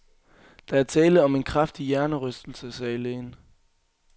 Der er tale om en kraftig hjernerystelse, sagde lægen.